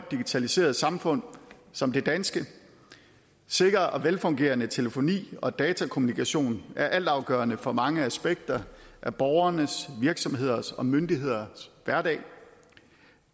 digitaliseret samfund som det danske sikker og velfungerende telefoni og datakommunikation er altafgørende for mange aspekter af borgernes virksomhedernes og myndighedernes hverdag